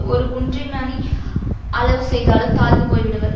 ஒரு குன்றிமனி அளவு செய்தாலும் தாழ்ந்து போய் விடுவர்